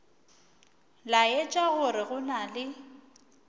laetša gore go na le